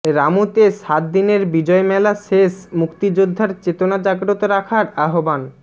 রামুতে সাত দিনের বিজয় মেলা শেষ মুক্তিযুদ্ধের চেতনা জাগ্রত রাখার আহ্বান